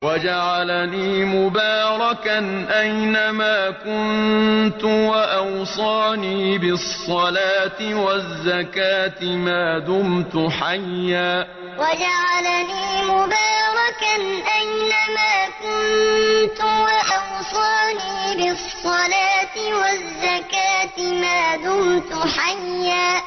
وَجَعَلَنِي مُبَارَكًا أَيْنَ مَا كُنتُ وَأَوْصَانِي بِالصَّلَاةِ وَالزَّكَاةِ مَا دُمْتُ حَيًّا وَجَعَلَنِي مُبَارَكًا أَيْنَ مَا كُنتُ وَأَوْصَانِي بِالصَّلَاةِ وَالزَّكَاةِ مَا دُمْتُ حَيًّا